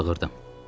Bağırdım.